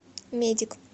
медик